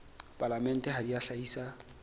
palamente ha di a hlahisa